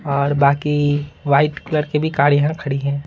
और बाकी -- white colour के भी कार यहां खड़ी हैं।